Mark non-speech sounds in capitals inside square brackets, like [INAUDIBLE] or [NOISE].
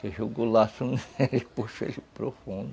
[UNINTELLIGIBLE] jogou laço [LAUGHS] nele e puxou ele para o fundo.